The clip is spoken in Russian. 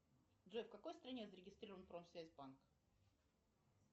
джой в какой стране зарегистрирован промсвязьбанк